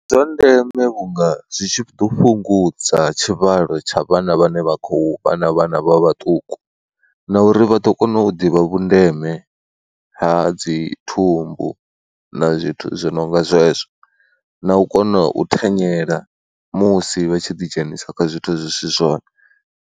Ndi zwa ndeme vhunga zwi tshi ḓo fhungudza tshivhalo tsha vhana vhane vha khou vha na vhana vha vhaṱuku na uri vha ḓo kona u ḓivha vhundeme ha dzi thumbu na zwithu zwi no nga zwezwo na u kona u thanyela musi vha tshi ḓidzhenisa kha zwithu zwi si zwone.